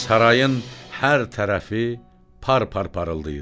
Sarayın hər tərəfi par-par parıldayırdı.